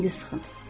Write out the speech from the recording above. Onu elə indi sıxın.